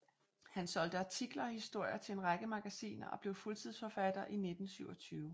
Han solgte artikler og historier til en række magasiner og blev fuldtidsforfatter i 1927